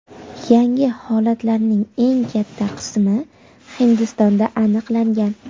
Yangi holatlarning eng katta qismi Hindistonda aniqlangan.